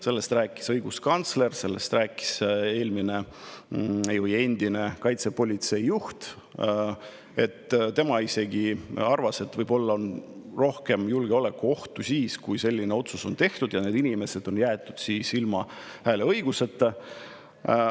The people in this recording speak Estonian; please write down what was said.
Sellest rääkis õiguskantsler, sellest rääkis ka endine kaitsepolitsei juht, kes isegi arvas, et võib-olla on suurem julgeolekuoht siis, kui selline otsus on tehtud ja need inimesed on jäetud ilma hääleõiguseta.